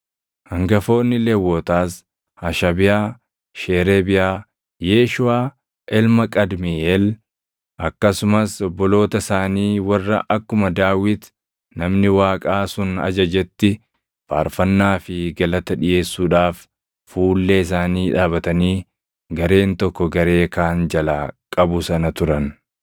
Hangafoonni Lewwotaas Hashabiyaa, Sheereebiyaa, Yeeshuʼaa ilma Qadmiiʼeel akkasumas obboloota isaanii warra akkuma Daawit namni Waaqaa sun ajajetti faarfannaa fi galata dhiʼeessuudhaaf fuullee isaanii dhaabatanii gareen tokko garee kaan jalaa qabu sana turan.